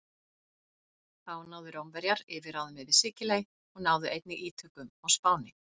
Þá náðu Rómverjar yfirráðum yfir Sikiley og náðu einnig ítökum á Spáni.